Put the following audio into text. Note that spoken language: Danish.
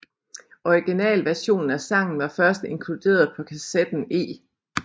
Originalversionen af sangen var først inkluderet på kassetten E